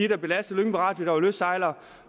der belastede lyngby radio der var lystsejlere